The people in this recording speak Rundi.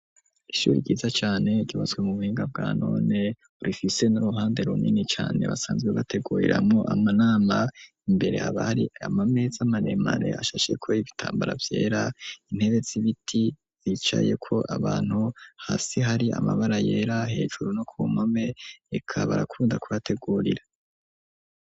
Ishure ryiza cane ryubatswe mu buhinga bwa none rifise n'uruhande runini cane basanzwe bateguriramwo amanama, imbere haba hari ama meza maremare ashasheko ibitambara vyera intebe zibiti zicaye ko abantu hasi hari amabara yera hejuru no ku mpome reka barakunda kubategurira.